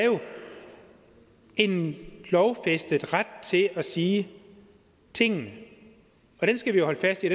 en lovfæstet ret til at sige tingene og den skal vi holde fast i